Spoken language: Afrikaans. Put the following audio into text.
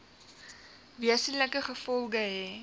wesenlike gevolge hê